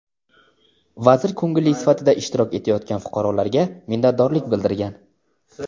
vazir ko‘ngilli sifatida ishtirok etayotgan fuqarolarga minnatdorlik bildirgan.